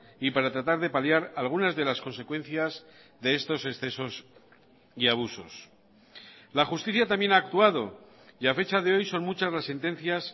y para tratar de paliar algunas de las consecuencias de estos excesos y abusos la justicia también ha actuado y a fecha de hoy son muchas las sentencias